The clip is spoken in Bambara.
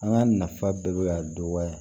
An ka nafa bɛɛ bɛ ka dɔgɔya